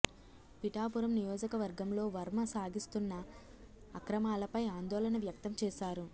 పిఠాపురం నియోజకవర్గంలో వర్మ సాగిస్తోన్న అక్రమాలపై ఆందోళన వ్యక్తం చేశారు